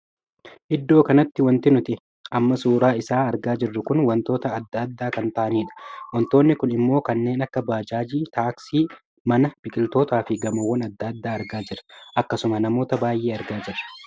Iddoo kanatti wanti nuti amma suuraa isaa argaa jirru kun wantoota addaa addaa kan taa'aniidha. wantoonni Kun immoo kanneen akka bajaajii, taaksii, mana, biqiloota fi gamoowwan addaa addaa argaa jirra. akkasuma namoota baay'ee s argaa jirra.